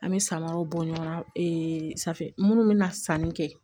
An bɛ samaraw bɔ ɲɔgɔn na safinɛ minnu bɛ na sanni kɛ